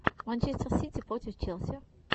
манчестер сити против челси